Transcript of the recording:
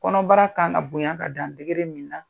Kɔnɔbara ka kan ka bonya ka dan min na.